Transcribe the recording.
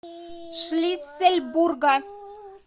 шлиссельбурга